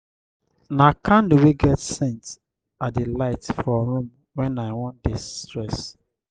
na candle wey get scent i dey light for room wen i wan de-stress.